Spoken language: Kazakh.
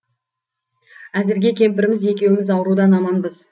әзірге кемпіріміз екеуіміз аурудан аманбыз